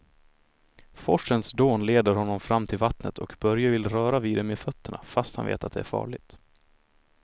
Forsens dån leder honom fram till vattnet och Börje vill röra vid det med fötterna, fast han vet att det är farligt.